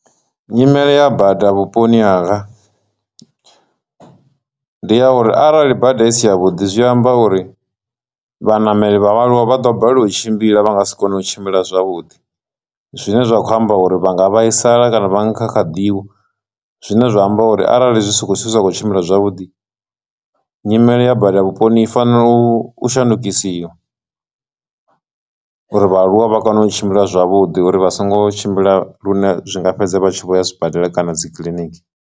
Nyimele ya bada vhuponi hanga ndi ya uri arali bada isi ya vhuḓi zwi amba uri vhanameli vha vhaaluwa vha ḓo balelwa u tshimbila vha nga si kone u tshimbila zwavhuḓi, zwine zwa khou amba uri vha nga vhaisala kana vha kha kha ḓi wa, zwine zwa amba uri arali zwi songo zwithu zwa khou tshimbila zwavhuḓi nyimele ya bada vhuponi fanela u shandukisiwa uri vhaaluwa vha kone u tshimbila zwavhuḓi uri vha songo tshimbila lune zwinga fhedza vha tshi vho ya zwibadela kana dzi kiḽiniki.